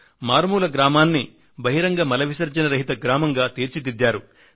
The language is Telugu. మారుమూల గ్రామాన్ని బహిరంగ మల విసర్జన రహిత గ్రామంగా తీర్చిదిద్దారు